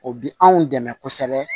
O bi anw dɛmɛ kosɛbɛ